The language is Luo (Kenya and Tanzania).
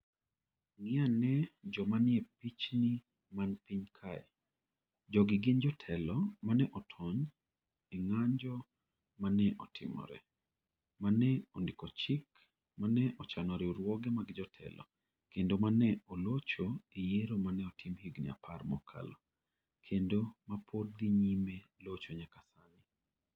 Ng'i ane joma nie pichni man piny kae. Jogi gin jotelo ma ne otony e ng'anjo ma ne otimore, ma ne ondiko chik, ma ne ochano riwruoge mag jotelo, kendo ma ne olocho e yiero ma ne otim higni 10 mokalo, kendo ma pod dhi nyime locho nyaka sani.